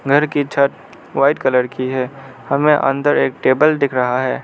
घर की छत व्हाइट कलर की है हमें अंदर एक टेबल दिख रहा है।